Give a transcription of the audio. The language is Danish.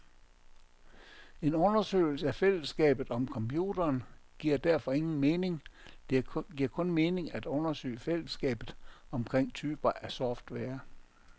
En undersøgelse af fælleskabet om computeren giver derfor ingen mening, det giver kun mening at undersøge fællesskaber omkring typer af software.